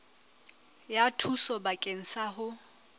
ya thuso bakeng sa ho